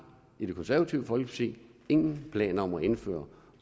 i det konservative folkeparti ingen planer om at indføre